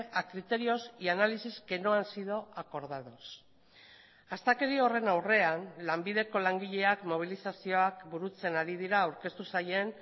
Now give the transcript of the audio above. a criterios y análisis que no han sido acordados astakeri horren aurrean lanbideko langileak mobilizazioak burutzen ari dira aurkeztu zaien